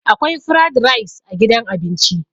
akwai frad rice a gidan abinci